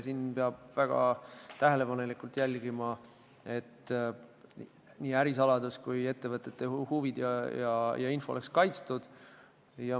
Siin peab väga tähelepanelikult jälgima, et nii ärisaladused kui muud ettevõtete huvid oleks kaitstud.